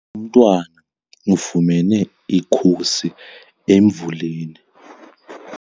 Umntwana ufumene ikhusi emvuleni.